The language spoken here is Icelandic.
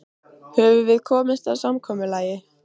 Höfum við komist að samkomulagi?